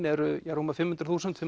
eru rúmar fimm hundruð þúsund fimm